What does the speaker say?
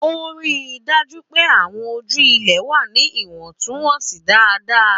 Ó rí i dájú pé àwọn ojú ilẹ̀ wà ní ìwọ̀ntúnwọ̀nsì dáadáa.